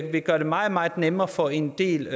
vil gøre det meget meget nemmere for en del